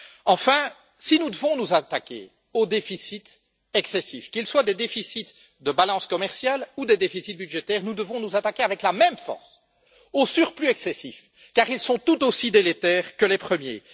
Enfin, si nous devons nous attaquer aux déficits excessifs, qu'il s'agisse de déficits de balances commerciales ou de déficits budgétaires, nous devons nous attaquer avec la même force aux excédents excessifs, car ils sont tout aussi délétères que les premiers.